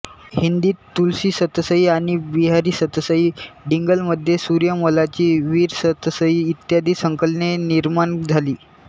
हिंदीत तुलसीसतसई आणि बिहारी सतसई डिंगलमध्ये सूर्यमल्लाची वीरसतसई इत्यादी संकलने निर्माण झाली